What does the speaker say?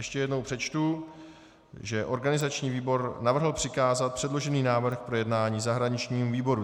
Ještě jednou přečtu, že organizační výbor navrhl přikázat předložený návrh k projednání zahraničnímu výboru.